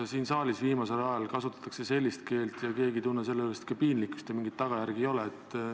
Siin saalis kasutatakse viimasel ajal sellist keelt ja keegi ei tunne sellepärast piinlikkust ja mingeid tagajärgi ei ole.